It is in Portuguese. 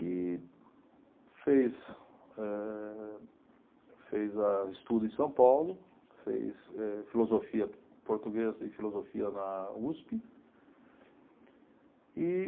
E fez eh, fez eh estudo em São Paulo, fez eh filosofia, português e filosofia na Uspe. E